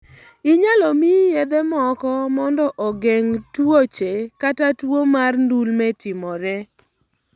Inyalo miyi yedhe moko mondo ogeng tuoche kata tuwo mar ndulme timore.